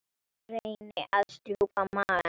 Reyni að strjúka maga hennar.